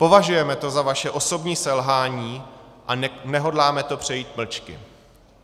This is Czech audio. Považujeme to za vaše osobní selhání a nehodláme to přejít mlčky.